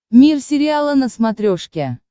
мир сериала на смотрешке